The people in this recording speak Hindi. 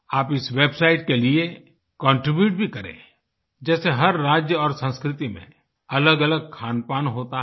आप इस वेबसाइट के लिए कॉन्ट्रीब्यूट भी करें जैसे हर राज्य और संस्कृति में अलगअलग खानपान होता है